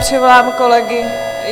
Přivolám kolegy.